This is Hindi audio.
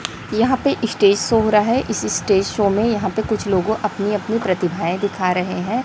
यहां पे स्टेज शो हो रहा है इस स्टेज शो में यहाँ पे कुछ लोग अपनी अपनी प्रतिभाएं दिखा रहे हैं।